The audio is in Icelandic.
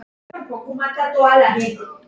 Hvað meira get ég sagt?